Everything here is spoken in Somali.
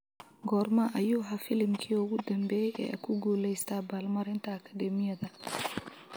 goorma ayuu ahaa filimkii ugu dambeeyay ee ku guuleysta abaalmarinta akadeemiyadda